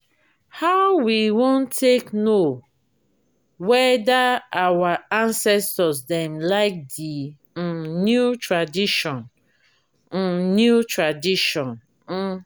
how we wan take know weda our acestors dem like di um new tradition? um new tradition? um